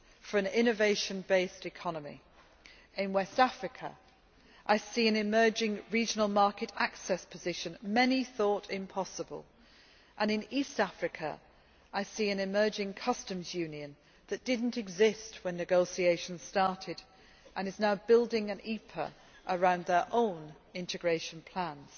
for an innovation based economy. In West Africa, I see an emerging regional market access position many thought impossible, and in East Africa I see an emerging customs union that did not exist when negotiations started and is now building an EPA around their own integration plans.